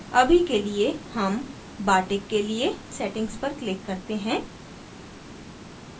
अभी के लिए हम bartik के लिए settings पर click करते हैं